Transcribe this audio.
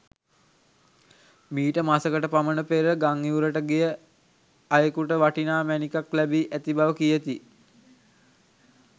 මීට මසකට පමණ පෙර ගංඉවුරට ගිය අයෙකුට වටිනා මැණිකක් ලැබී ඇති බව කියති.